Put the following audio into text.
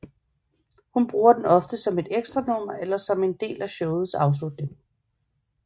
Hun bruger den ofte som et ekstranummer eller som en del af showets afslutning